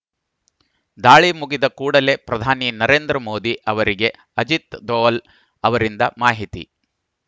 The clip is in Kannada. ದಾಳಿ ಮುಗಿದ ಕೂಡಲೇ ಪ್ರಧಾನಿ ನರೇಂದ್ರ ಮೋದಿ ಅವರಿಗೆ ಅಜಿತ್‌ ದೋವಲ್‌ ಅವರಿಂದ ಮಾಹಿತಿ